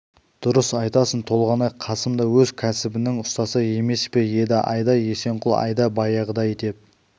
дұрыс айтасың толғанай қасым да өз кәсібінің ұстасы емес пе еді айда есенқұл айда баяғыдай деп